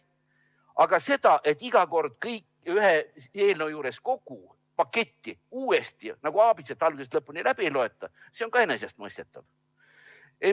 Aga see, et iga kord kõike ühe eelnõu juures, kogu paketi ulatuses uuesti nagu aabitsat algusest lõpuni läbi ei loeta, see on ka enesestmõistetav.